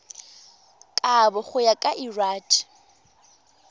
kabo go ya ka lrad